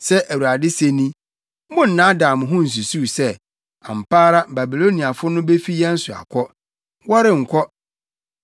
“Sɛ Awurade se ni: Monnnaadaa mo ho nsusuw sɛ, ‘Ampa ara Babiloniafo no befi yɛn so akɔ.’ Wɔrenkɔ!